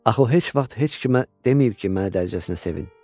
Axı o heç vaxt heç kimə deməyib ki, məni dərəcəsinə sevin.